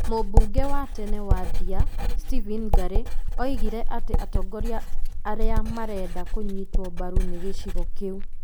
Mũbunge wa tene wa Ndia, Stephen Ngare oigire atĩ atongoria arĩa marenda kũnyitwo mbaru nĩ gĩcigo kĩu